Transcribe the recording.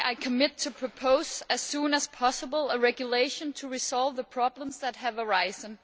is why I am committed to proposing, as soon as possible, a regulation to resolve the problems that have arisen.